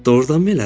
Doğrudanmı elədir?